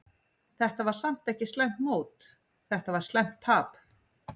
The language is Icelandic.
Þetta var samt ekki slæmt mót, þetta var slæmt tap.